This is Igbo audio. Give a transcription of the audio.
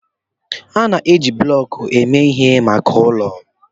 A na-eji bloku eme ihe maka ụlọ.